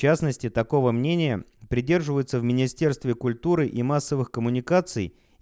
в частности такого мнения придерживается в министерстве культуры и массовых коммуникаций